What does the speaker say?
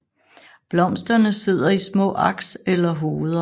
Blomsterne sidder i små aks eller hoveder